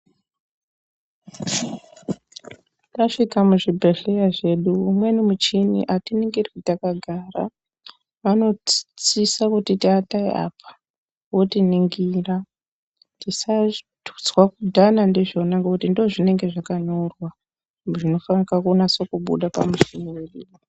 Tasvika muzvibhehleya zvedu umweni muchini atiningirwi takagara vanosisa kutiti atai apa votiningira . Tisatutswa kudhana ndizvona ngokuti ndozvinenge zvakanyorwa zvinofanika kunasokubuda pamushini.